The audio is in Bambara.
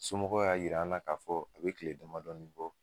Somɔgɔw y'a yira an na k'a fɔ a bɛ kile damadɔni bɔ.